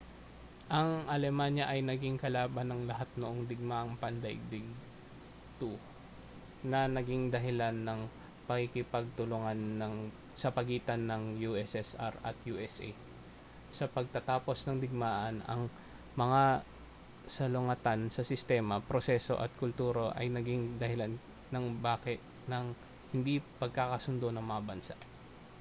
ang alemanya ay naging kalaban ng lahat noong digmaang pandaigdig 2 na naging dahilan ng pagkikipagtulungan sa pagitan ng ussr at usa sa pagtatapos ng digmaan ang mga salungatan sa sistema proseso at kultura ay naging dahilan ng hindi pagkakasundo ng mga bansa